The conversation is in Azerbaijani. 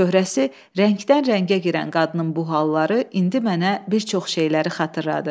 Çöhrəsi rəngdən-rəngə girən qadının bu halları indi mənə bir çox şeyləri xatırladır.